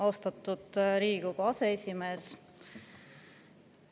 Austatud Riigikogu aseesimees!